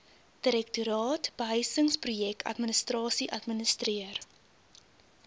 direktoraat behuisingsprojekadministrasie administreer